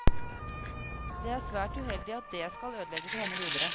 Det er svært uheldig at det skal ødelegge for henne videre.